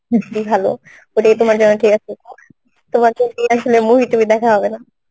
ভালো ওটাই তোমার জন্য ঠিক আছে তোমার জন্যই আসলে movie টুভি দেখা হবে না